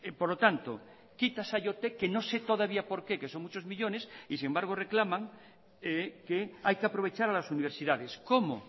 por lo tanto quita saiotek que no sé todavía por qué que son muchos millónes y sin embargo reclaman que hay que aprovechar a las universidades cómo